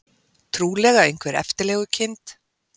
Trúlega einhver eftirlegukind.